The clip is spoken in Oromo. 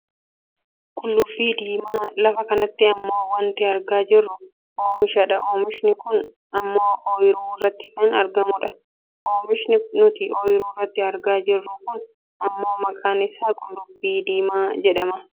Qullubbii diimaa, lafa kanatti ammoo wanti argaa jirru oomisha dha. Oomishni kun ammoo ooyiruu irratti kan argamudha. Oomishni nuti oyiruu irratti argaa jirru kun ammoo maqaan isaa qullubbii diimaa jedhama.